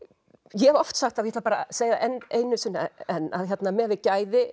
ég hef oft sagt og ætla að segja einu sinni enn að miðað við gæði